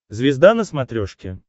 звезда на смотрешке